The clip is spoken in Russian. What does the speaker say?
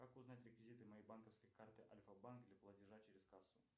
как узнать реквизиты моей банковской карты альфа банк для платежа через кассу